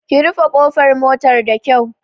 Ki rufe ƙofar motar da kyau!